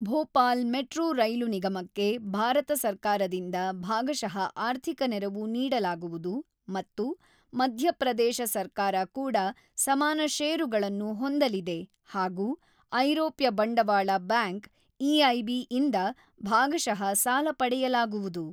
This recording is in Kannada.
ಭೋಪಾಲ್ ಮೆಟ್ರೋ ರೈಲು ನಿಗಮಕ್ಕೆ ಭಾರತ ಸರ್ಕಾರದಿಂದ ಭಾಗಶಃ ಆರ್ಥಿಕ ನೆರವು ನೀಡಲಾಗುವುದು ಮತ್ತು ಮಧ್ಯಪ್ರದೇಶ ಸರ್ಕಾರ ಕೂಡ ಸಮಾನ ಷೇರುಗಳನ್ನು ಹೊಂದಲಿದೆ ಹಾಗೂ ಐರೋಪ್ಯ ಬಂಡವಾಳ ಬ್ಯಾಂಕ್ ಇಐಬಿ ಯಿಂದ ಭಾಗಶಃ ಸಾಲ ಪಡೆಯಲಾಗುವುದು.